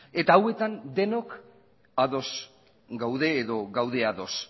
eta hauetan denok ados gaude edo gaude ados